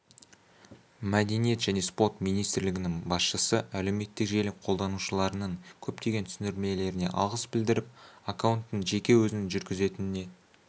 мәдениет және спорт министрлігінің басшысы әлеуметтік желі қолданушыларының көптеген түсіндірмелеріне алғыс білдіріп аккаунтты жеке өзінің жүргізетініне